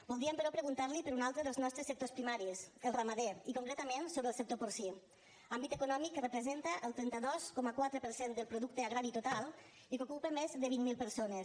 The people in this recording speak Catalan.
voldríem però preguntar li per un altre dels nostres sectors primaris el ramader i concretament sobre el sector porcí àmbit econòmic que representa el trenta dos coma quatre per cent del producte agrari total i que ocupa més de vint mil persones